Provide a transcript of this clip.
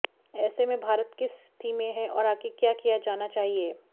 ऐसे में भारत किस स्थिति में हैं और आगे क्या किया जाना चाहिए